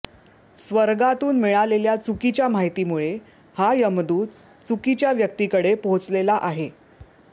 स्वर्गातून मिळालेल्या चुकीच्या माहितीमुळे हा यमदूत चुकीच्या व्यक्तीकडे पोहोचलेला आहे